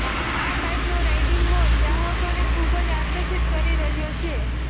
આ બાઇકનો riding mode ગ્રાહકોને ખૂબ આકર્ષિત કરી રહ્યો છે